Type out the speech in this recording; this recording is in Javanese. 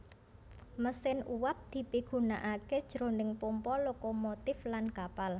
Mesin uwab dipigunakaké jroning pompa lokomotif lan kapal